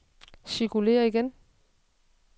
cirkulér igen